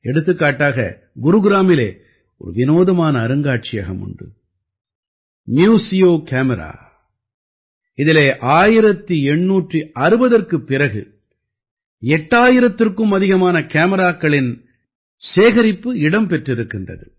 எடுத்துக்காட்டாக குருகிராமிலே ஒரு விநோதமான அருங்காட்சியகம் உண்டு ம்யூசியோ கேமரா இதிலே 1860ற்குப் பிறகு 8000த்திற்கும் அதிகமான கேமிராக்களின் சேகரிப்பு இடம் பெற்றிருக்கின்றது